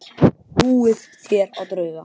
Trúið þér á drauga?